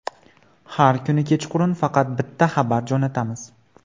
Har kuni kechqurun faqat bitta xabar jo‘natamiz.